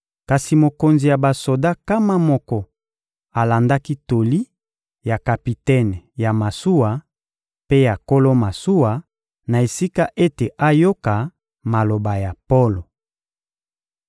Kasi mokonzi ya basoda nkama moko alandaki toli ya kapitene ya masuwa mpe ya nkolo masuwa, na esika ete ayoka maloba ya Polo.